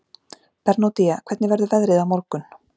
Bernódía, hvernig verður veðrið á morgun?